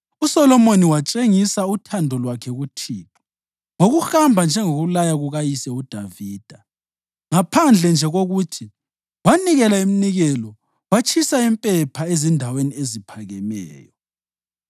USolomoni watshengisela uthando lwakhe kuThixo ngokuhamba njengokulaya kukayise uDavida, ngaphandle nje kokuthi wanikela iminikelo watshisa impepha ezindaweni eziphakemeyo.